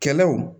Kɛlɛw